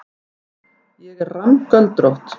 Ég er rammgöldrótt.